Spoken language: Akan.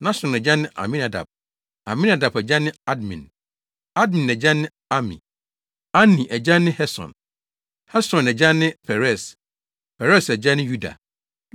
Nahson agya ne Aminadab; Aminadab agya ne Admin; Admin agya ne Arni; Arni agya ne Hesron; Hesron agya ne Peres; Peres agya ne Yuda;